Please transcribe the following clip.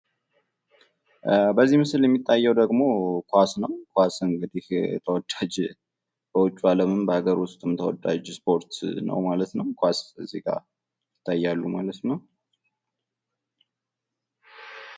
በዚህ ምስል የሚታዬው ደግሞ ኳስ ነው። ኳስ እንግዲህ ተወዳጅ በውጭው አለምም በአገር ውስጥም ተወዳጅ እስፖርት ነው ማለት ነው። ኳስ እዚጋ ይታያሉ ማለት ነው።